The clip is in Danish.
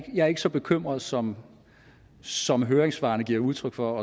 er ikke så bekymret som som høringssvarene giver udtryk for